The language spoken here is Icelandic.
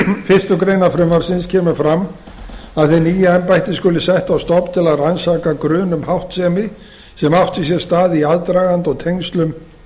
fyrstu grein frumvarpsins kemur fram að hið nýja embætti skuli sett á stofn til að rannsaka grun um háttsemi sem átti sér stað í aðdraganda og tengslum